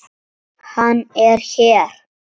Hann er hér.